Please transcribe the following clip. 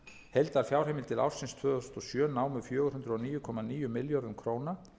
heildarfjárheimildir ársins tvö þúsund og sjö námu fjögur hundruð og níu komma níu milljörðum króna